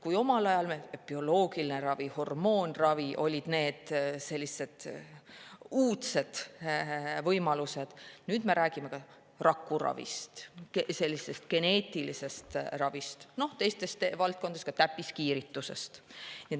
Kui omal ajal olid bioloogiline ravi ja hormoonravi need uudsed võimalused, siis nüüd me räägime rakuravist, geneetilisest ravist, ka täppiskiiritusest.